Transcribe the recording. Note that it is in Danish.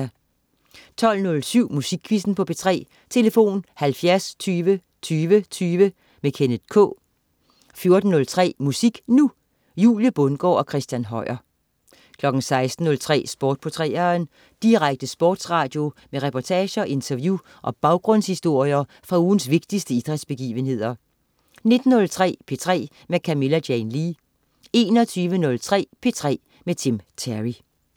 12.07 Musikquizzen på P3. Tlf.: 70 20 20 20. Kenneth K 14.03 Musik Nu! Julie Bundgaard og Christina Høier 16.03 Sport på 3'eren. Direkte sportsradio med reportager, interview og baggrundshistorier fra ugens vigtigste idrætsbegivenheder 19.03 P3 med Camilla Jane Lea 21.03 P3 med Tim Terry